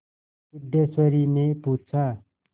सिद्धेश्वरीने पूछा